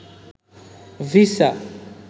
visa